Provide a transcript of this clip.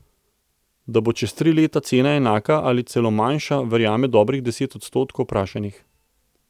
Da bo čez tri leta cena enaka ali celo manjša, verjame dobrih deset odstotkov vprašanih.